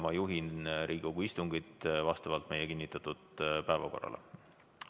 Ma juhin Riigikogu istungit vastavalt meie kinnitatud päevakorrale.